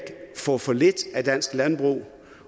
få for lidt af dansk landbrug